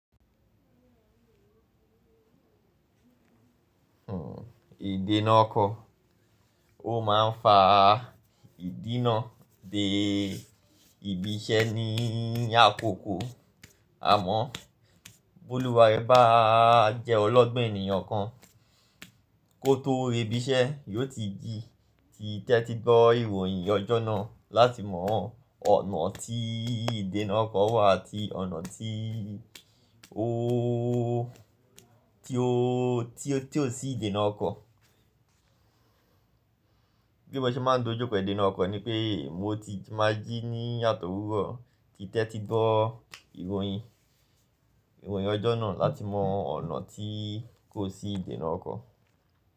Ìdénà ọkọ̀, ó ma ń fa ìdínà de ibi iṣẹ́ ní àkókò. Àmọ́, bólúwà ẹ bá jẹ́ ọlọ́gbọ́n ènìyàn kan, kó tó rí ibi iṣẹ́, yóò ti jí ti tẹ́tí gbọ́ ìròyìn ọjọ́ náà láti mọ ọ̀nà tí ìdénà ọkọ̀ wà àti ọ̀nà tí ó, tí ó, tí ó sì ìdénà ọkọ̀. Bí mo ṣe máa ń dojú pẹ̀lú ìdénà ọkọ̀ ni pé mo ti máa jí ní àtòwúrọ̀ ti tẹ́tí gbọ́ ìròyìn, ìròyìn ọjọ́ náà láti mọ ọ̀nà tí kò sí ìdénà ọkọ̀.